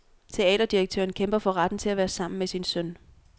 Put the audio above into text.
Teaterdirektøren kæmper for retten til at være sammen med sin søn.